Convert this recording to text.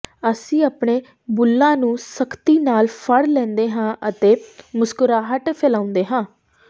ਅਸੀਂ ਆਪਣੇ ਬੁੱਲ੍ਹਾਂ ਨੂੰ ਸਖਤੀ ਨਾਲ ਫੜ ਲੈਂਦੇ ਹਾਂ ਅਤੇ ਮੁਸਕਰਾਹਟ ਫੈਲਾਉਂਦੇ ਹਾਂ